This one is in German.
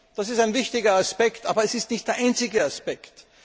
Das ist ein wichtiger Aspekt, aber es ist nicht der einzige Aspekt.